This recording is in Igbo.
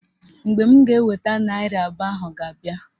Mgbe m ga-eweta naịra abụọ ahụ ga-abịa